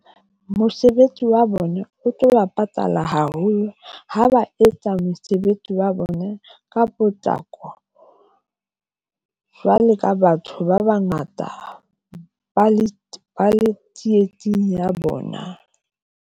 Mosebetsi wa bona o tlo ba patala haholo ha ba etsa mosebetsi wa bona ka potlako, jwalo ka batho ba bangata ba le ba le tsietsing ya bona.